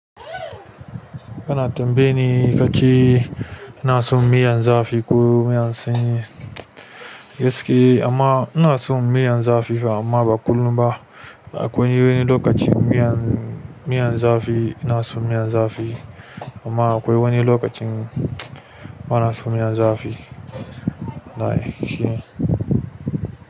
Kana tambaye ni kace ina son miyan zafi ko miyan sanyi, gaske amma ina son miyan zafi fa amma ba kullum ba. Akwai wani lokacin miyan, miyan zafi ina son miyan zafi amma akwai wani lokacin. Bana son miyan zafi. Walai shine.